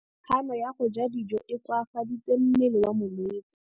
Kganô ya go ja dijo e koafaditse mmele wa molwetse.